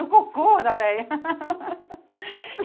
No cocô da véia.